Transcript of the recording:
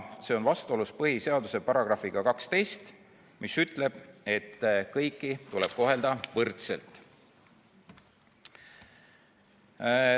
See on vastuolus põhiseaduse §-ga 12, mis ütleb, et kõiki tuleb kohelda võrdselt.